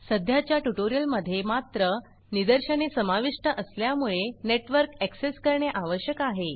सध्याच्या ट्यूटोरियल मध्ये मात्र निदर्शने समाविष्ट असल्यामुळे नेटवर्क ऍक्सेस करणे आवश्यक आहे